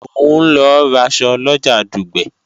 Mò ń lọ raṣọ lọjà Dùgbẹ̀